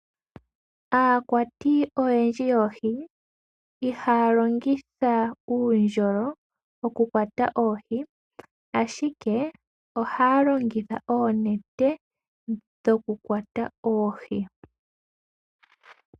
Aakwati oyendji yoohi ihaya longitha uundjolo okukwata oohi, ashike ohaya longitha oonete dhokukwata oohi.